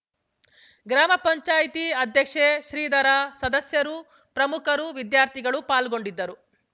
ಗ್ರಾಮ ಪಂಚಾಯತಿ ಅಧ್ಯಕ್ಷೆ ಶ್ರೀಧರ ಸದಸ್ಯರು ಪ್ರಮುಖರು ವಿದ್ಯಾರ್ಥಿಗಳು ಪಾಲ್ಗೊಂಡಿದ್ದರು